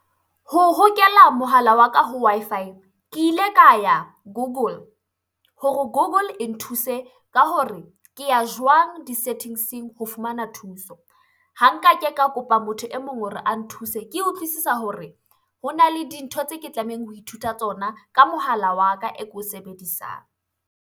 Ho hokela mohala wa ka ho Wi-Fi, ke ile ka ya Google hore Google e nthuse ka hore ke ya jwang di settings-eng ho fumana thuso? Ha nka ke ka kopa motho e mong hore a nthuse. Ke utlwisisa hore hona le dintho tse ke tlamehang ho ithuta tsona ka mohala wa ka e ko o sebedisang.